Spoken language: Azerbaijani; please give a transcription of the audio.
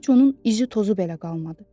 heç onun izi tozu belə qalmadı.